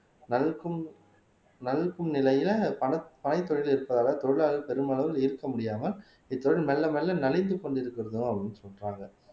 நல்கும்நல்கும் நிலையில பனத் பனைத்தொழில் இருப்பதாக தொழிலாளர்கள் பெருமளவில் இருக்க முடியாமல் இத்தொழில் மெல்ல மெல்ல நலிந்து கொண்டு இருக்கிறதும் அப்படின்னு சொல்றாங்க